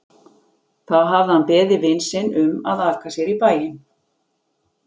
Þá hafði hann beðið vin sinn um að aka sér í bæinn.